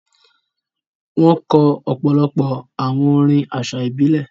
Wọn kọ̀ ọ̀pọ̀lọ̀pọ̀ àwọn orín àṣà ibilẹ̀.